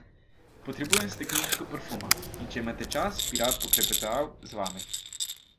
Potrebujem stekleničko parfuma, in če imate čas, bi rad poklepetal z vami.